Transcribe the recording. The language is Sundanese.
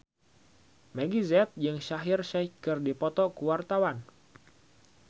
Meggie Z jeung Shaheer Sheikh keur dipoto ku wartawan